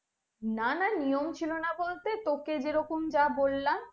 না না নিয়ম ছিলোনা বলতে তোকে যেরকম যা বললাম